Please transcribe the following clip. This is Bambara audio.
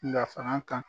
Dafara kan